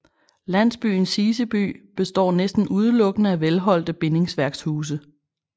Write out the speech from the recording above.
Landsbyen Siseby består næsten udelukkende af velholdte bindingsværkshuse